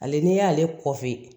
Ale n'i y'ale kɔfi